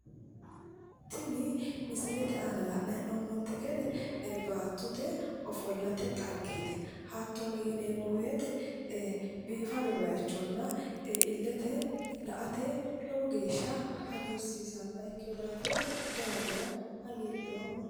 Tinu misilete aana la'nanni hee'noommoti baattote ofollate dhaggeti hattono ilete la"ate biifinoha ikkino daafira lowo geeshsha hagiidhoomma".